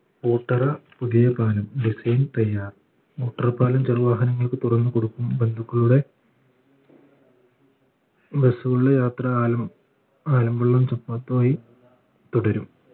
പൂട്ടര പുതിയ പാലം design തയ്യാർ motor പാലം ചെറു വാഹനങ്ങൾക്ക് തുറന്നു കൊടുക്കും ബന്ധുക്കളുടെ bus കളുടെ യാത്ര ആലും ആലമ്പുള്ള തുടരും